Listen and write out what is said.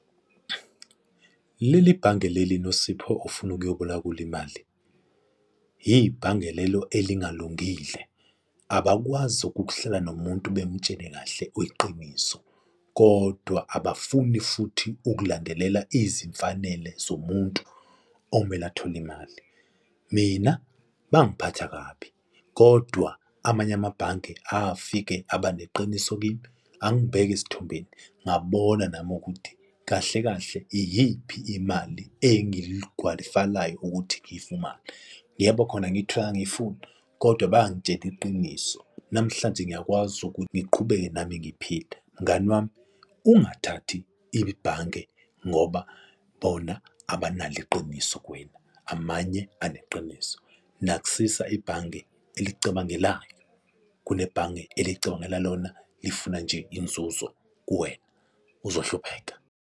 Leli bhange leli Nosipho ofuna ukuyoboleka kulo imali, ibhange lelo elingalungile, abakwazi ukuhlala nomuntu bemutshene kahle iqiniso kodwa abafuni futhi ukulandelela izimfanele zomuntu omele athole imali. Mina bangiphatha kabi, kodwa amanye amabhange afike aba neqiniso kimi angibeka esithombeni, ngabona nami ukuthi kahle kahle iyiphi imali engingiyigwayifalayo ukuthi ngiyifumane? Yebo, khona ngiyitholanga, engangiyifuna kodwa bangitshela iqiniso. Namhlanje ngiyakwazi ukuthi ngiqhubeke nami ngiphile. Mngani wami, ungathathi ibhange ngoba bona abanalo iqiniso kuwena, amanye eneqiniso, nakusisa ibhange elikucabangelayo kunehange elicabangela lona lifuna nje inzuzo kuwena, uzohlupheka.